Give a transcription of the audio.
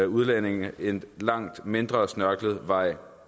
udlændinge en langt mindre snørklet vej